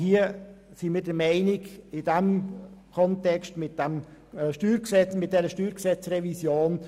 Wir machen mit und bieten Hand, aber nicht im Zusammenhang mit dieser StG-Revision.